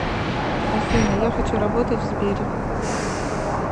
афина я хочу работать в сбере